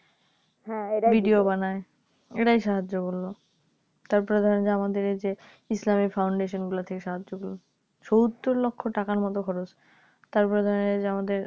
Video বানায় এরাই সাহায্য করলো তারপরে ধরেন যে আমাদের এই যে ইসলামী Foundation গুলো থেকে সাহায্য করলো সত্তর লক্ষ টাকার মতো খরচ তারপরে ধরেন এই যে আমাদের